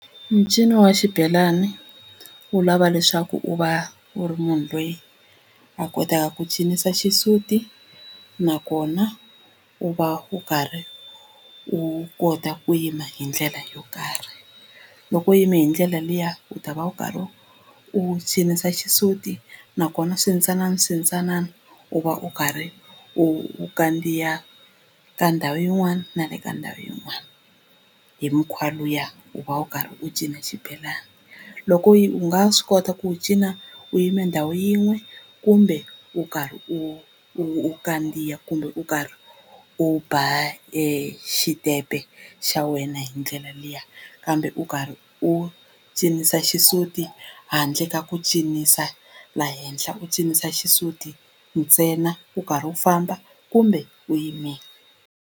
Mincino ya xibelani wu lava leswaku u va u ri munhu loyi a kotaka ku cinisa xisuti nakona u va u karhi u kota ku yima hi ndlela yo karhi loko u yime hi ndlela liya u ta va u karhi u cinisa xisuti nakona swintsanana swintsanana u va u karhi u kandziya ka ndhawu yin'wana na le ka ndhawu yin'wana hi mikhwa luya u va u karhi u cina xibelana loko u nga swi kota ku wu cina u yime ndhawu yin'we kumbe u karhi u u kandziya kumbe u karhi u ba xitepe xa wena hi ndlela liya kambe u karhi u cinisa xisuti handle ka ku cinisa la henhla u cinisa xisuti ntsena u karhi u famba kumbe u yimile.